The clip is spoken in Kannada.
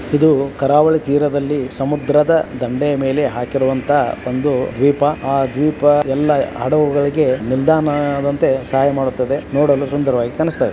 ಇದು ಕರಾವಳಿ ತೀರದಲ್ಲಿ ಸಮುದ್ರದ ದಂಡೆಯ ಮೇಲೆ ಹಾಕಿರುವಂತ ಒಂದು ದ್ವೀಪ ಆ ದ್ವೀಪ ಎಲ್ಲ ಹಡುಗುಗಳಿಗೆ ನಿಲ್ದಾಣದಂತೆ ಸಹಾಯ ಮಾಡುತ್ತದೆ ನೋಡಲು ಸುಂದರವಾಗಿದ ಕಾನಿಸ್ತಾಇದೆ.